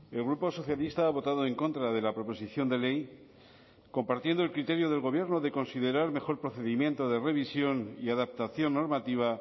el grupo socialista ha votado en contra de la proposición de ley compartiendo el criterio del gobierno de considerar mejor procedimiento de revisión y adaptación normativa